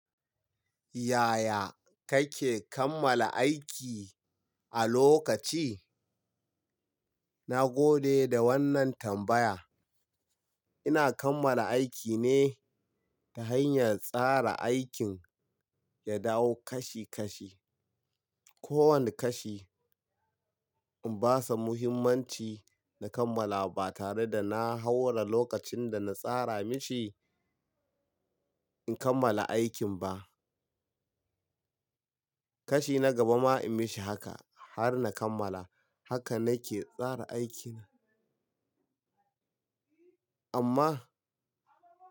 Yaya kake kammala aiki a lokaci? Na gode da wannan tambaya. Ina kammala aiki ne ta hanyar tsara aikin ya dawo kashi-kashi. Ko wane kashi in basa muhimmanci na kammala ba tare da na haura lokacin da na tsara mishi, in kammala aikin ba. Kashi na gaba ma in mishi haka har na kammala. Haka nake tsara aikin. Amma.